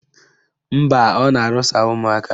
Mba, ọ na-arụsa ụmụaka